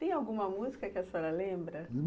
Tem alguma música que a senhora lembra?